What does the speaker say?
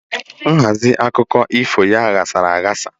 Nhazi akụkụ ifo ya yásara ayasa